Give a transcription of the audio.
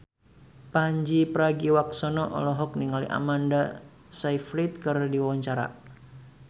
Pandji Pragiwaksono olohok ningali Amanda Sayfried keur diwawancara